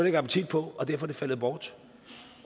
ikke appetit på og derfor er det faldet bort